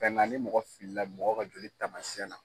ni mɔgɔ fili la mɔgɔ ka joli tamasiɛn na.